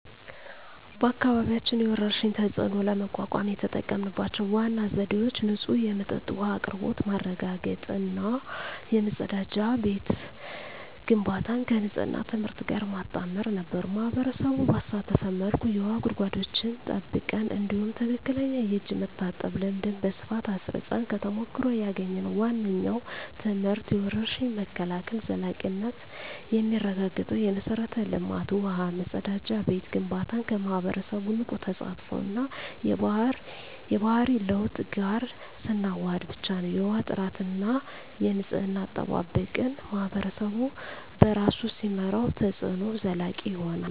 በአካባቢያችን የወረርሽኝን ተፅዕኖ ለመቋቋም የተጠቀምንባቸው ዋና ዘዴዎች ንጹህ የመጠጥ ውሃ አቅርቦት ማረጋገጥ እና የመጸዳጃ ቤት ግንባታን ከንፅህና ትምህርት ጋር ማጣመር ነበሩ። ማኅበረሰቡን ባሳተፈ መልኩ የውሃ ጉድጓዶችን ጠብቀን፣ እንዲሁም ትክክለኛ የእጅ መታጠብ ልምድን በስፋት አስረፅን። ከተሞክሮ ያገኘነው ዋነኛው ትምህርት የወረርሽኝ መከላከል ዘላቂነት የሚረጋገጠው የመሠረተ ልማት (ውሃ፣ መጸዳጃ ቤት) ግንባታን ከማኅበረሰቡ ንቁ ተሳትፎ እና የባህሪ ለውጥ ጋር ስናዋህድ ብቻ ነው። የውሃ ጥራትና የንፅህና አጠባበቅን ማኅበረሰቡ በራሱ ሲመራው፣ ተፅዕኖው ዘላቂ ይሆናል።